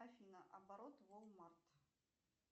афина оборот уолл март